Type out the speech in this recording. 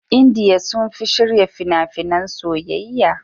Indiya sun fi shirya fina-finan soyayya.